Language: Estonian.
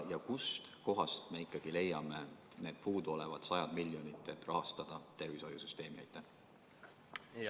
Ja kust kohast me ikkagi leiame need puuduolevad sajad miljonid, et tervishoiusüsteemi rahastada?